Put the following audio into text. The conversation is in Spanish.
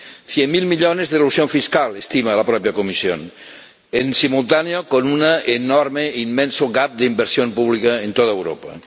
Cien mil millones de elusión fiscal, estima la propia Comisión, en simultáneo con un enorme, un inmenso gap de inversión pública en toda Europa.